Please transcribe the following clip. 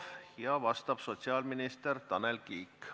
Sellele vastab sotsiaalminister Tanel Kiik.